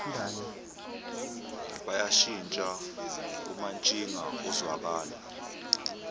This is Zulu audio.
bayashintsha umantshinga uzwakala